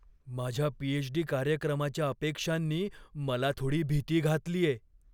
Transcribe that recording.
माझ्या पीएचडी कार्यक्रमाच्या अपेक्षांनी मला थोडी भीती घातलीये.